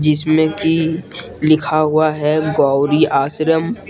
इसमें कि लिखा हुआ है गौरी आश्रम।